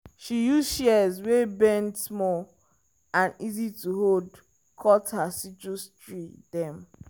she use shears wey bend small and easy to hold cut her citrus tree dem.